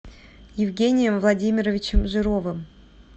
евгением владимировичем жировым